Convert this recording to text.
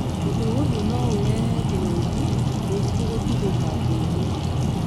Ũndũ ũyũ no ũrehe kĩng'ũki, mũrimũ gũtuthũka thĩ-inĩ.